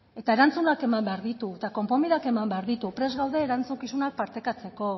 eta erantzunak eman behar ditu eta konponbideak eman behar ditu prest gaude erantzukizunak partekatzeko